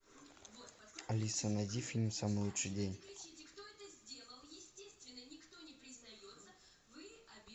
алиса найди фильм самый лучший день